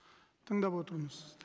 тыңдап отырмыз сізді